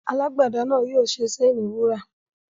Alágbẹ̀de náà yóò ṣe séènì wúrà.